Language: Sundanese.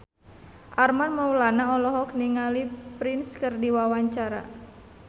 Armand Maulana olohok ningali Prince keur diwawancara